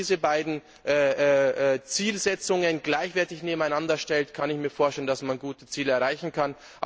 Wenn man diese beiden Zielsetzungen gleichwertig nebeneinander stellt, kann ich mir vorstellen, dass man die Ziele erreichen kann.